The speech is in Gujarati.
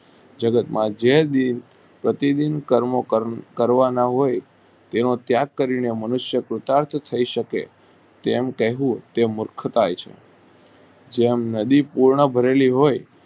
જગત માં જે બી પ્રતિબીંબ કર્મો કરવાના હોય તેનો ત્યાગ કરી ને મનુષ્યો નો તર્ક થઈ શકે તેમ કહેવું તે મૂર્ખાઈ છે જેમ નદી પૂર્ણ ભરેલી હોય